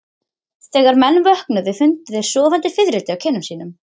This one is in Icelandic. Þegar menn vöknuðu fundu þeir sofandi fiðrildi á kinnum sínum.